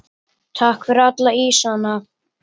Takk fyrir alla ísana.